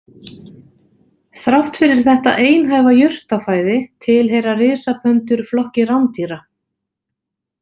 Þrátt fyrir þetta einhæfa jurtafæði tilheyra risapöndur flokki rándýra.